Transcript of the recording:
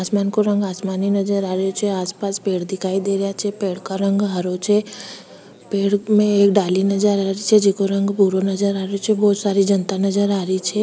आसमान का रंग आसमानी नजर आ रही छे आस पास पेड़ दिखाई दे रहिया छे पेड़ का रंग हरो छे पेड़ में एक डाली नजर आ रही छे जेको रंग भूरो नजर आ रही छे बहुत सारी जनता नजर आ रही छे।